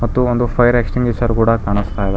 ಮತ್ತು ಇದು ಒಂದು ಫೈಯರ್ ಎಕ್ಸ್ಟಿಂಗ್ವಿಷರ್ ಕೂಡ ಕಾಣಿಸ್ತಾ ಇದೆ.